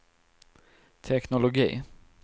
teknologi